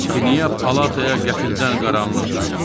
Axı niyə palataya qəfildən qaranlıq çökdü?